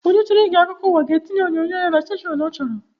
Onye chọrọ ige akụkọụwa ga etinye onyinyo ya na stashọn ọ chọrọ